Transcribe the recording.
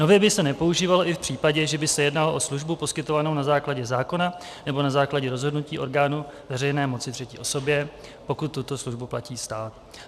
Nově by se nepoužívalo i v případě, že by se jednalo o službu poskytovanou na základě zákona nebo na základě rozhodnutí orgánu veřejné moci třetí osobě, pokud tuto službu platí stát.